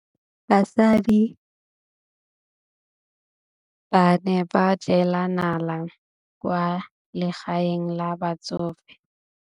Basadi ba ne ba jela nala kwaa legaeng la batsofe.